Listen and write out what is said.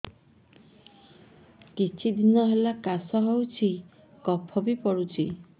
କିଛି ଦିନହେଲା କାଶ ହେଉଛି କଫ ବି ପଡୁଛି